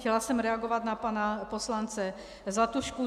Chtěla jsem reagovat na pana poslance Zlatušku.